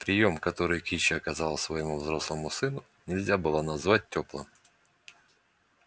приём который кичи оказала своему взрослому сыну нельзя было назвать тёплым